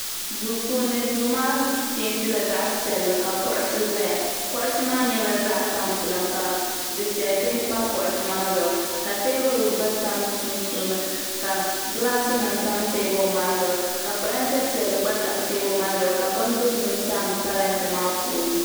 duu puuni duu maa peentila zaɣ piɛlli ka kuɣusi ʒɛya kuɣusi maa nyɛla zaɣ tampilim ka dufɛli bihi pa kuɣusi maa zuɣu ka teebuli gba tam sunsuuni ka gilaas nim tam teebuli maa zuɣu ka parantɛ piɛlli gba tam teebuli maa zuɣu ka bin dozim tam parantɛ maa puuni